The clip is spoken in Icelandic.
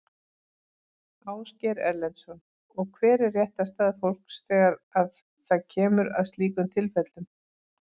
Ásgeir Erlendsson: Og hver er réttarstaða fólks þegar að það kemur að slíkum tilfellum?